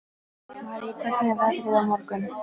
Marý, hvernig er veðrið á morgun?